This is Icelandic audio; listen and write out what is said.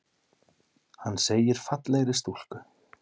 Hann segir fallegri stúlku.